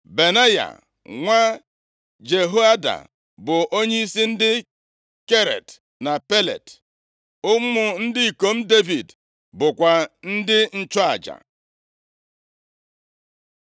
Benaya, nwa Jehoiada, bụ onyeisi ndị Keret na Pelet. + 8:18 Ndị Keret bụ ndị si obodo Kriit, ebe ndị Pelet si nʼobodo Filistia. Ha bụ ndị agha e goro ego na-eche eze nche, gụọ akwụkwọ \+xt 1Ih 18:17\+xt* Ụmụ ndị ikom Devid bụkwa ndị nchụaja.